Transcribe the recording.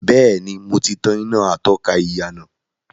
Bẹ́ẹ̀ni, mo ti tàn iná atọ́ka ìyànà.